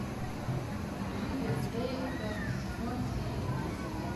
ривердейл пятый сезон серия десять